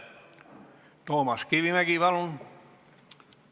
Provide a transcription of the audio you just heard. Toomas Kivimägi, palun!